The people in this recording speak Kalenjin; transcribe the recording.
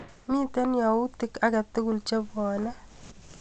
Miite yautik akatukul chebwoni.